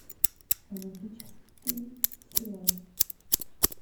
романтический сериал